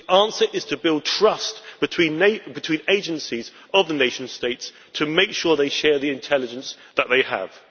The answer is to build trust between the agencies of the nation states to make sure they share the intelligence that they have.